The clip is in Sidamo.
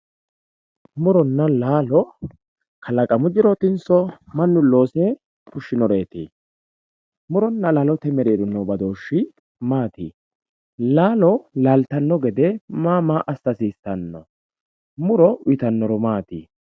Muronna laalo kalaqamu jirotinso mannu loosire fushinoreti, murona laalote mereero no badooshi maati, laalo laaltano gede maa maa assa hasiisano, muro uyittano horo maati?